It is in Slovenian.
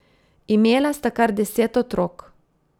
Imela sta kar deset otrok.